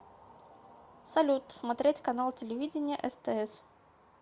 салют смотреть канал телевидения стс